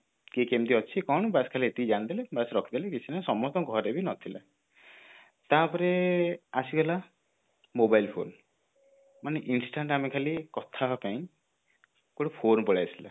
କିଏ କେମିତି ଅଛି କଣ ଏତିକି ଜାଣିଦେଲେ ବାସ ରଖିଦେଲେ କିଛି ନାଇଁ ସମସ୍ତଙ୍କ ଘରେ ବି ନଥିଲା ତାପରେ ଆସିଗଲା mobile phone ମାନେ instant ଆମେ ଖାଲି କଥା ହବା ପାଇଁ ଗୋଟେ phone ପଳେଇ ଆସିଲା